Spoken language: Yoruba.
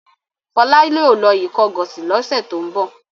Fọlá yóò lọ Ìkọgọ̀sì lọ́sẹ̀ tó ń bọ̀.